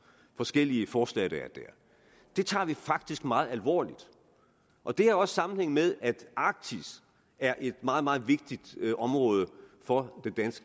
forskellige forslag det tager vi faktisk meget alvorligt og det har også sammenhæng med at arktis er et meget meget vigtigt område for